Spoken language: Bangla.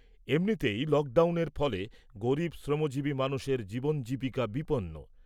এমনিতেই লকডাউনের ফলে গরিব শ্রমজীবী মানুষের জীবন জীবিকা বিপন্ন।